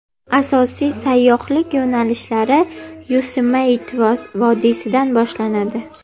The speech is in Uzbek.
Asosiy sayyohlik yo‘nalishlari Yosemite vodiysidan boshlanadi.